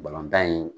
Balontan in